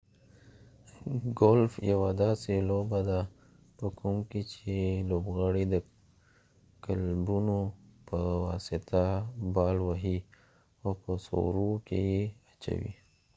ګولف یوه داسې لوبه ده په کوم کې چې ‍لوبغاړی د کلبونو په واسطه بال وهی او په سورو کې یې اچوي